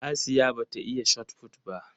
Asiya ba ta iya Shotput ba